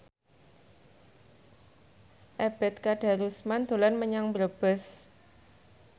Ebet Kadarusman dolan menyang Brebes